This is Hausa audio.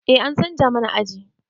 Eh an canza mana aji